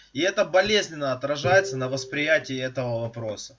и это болезненно отражается на восприятие этого вопрос